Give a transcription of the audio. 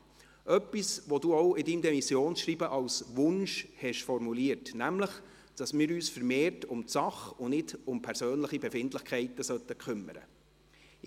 Dies ist etwas, das Sie auch in Ihrem Demissionsschreiben als Wunsch formuliert haben, nämlich, dass wir uns vermehrt um die Sache und nicht um persönliche Befindlichkeiten kümmern sollten.